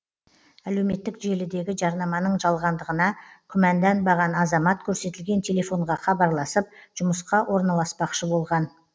әлеуметтік желідегі жарнаманың жалғандығына күмәнданбаған азамат көрсетілген телефонға хабарласып жұмысқа орналаспақшы болған